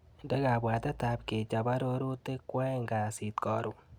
Indee kabwatetap kechap arorutik kwaeng' kasit karon.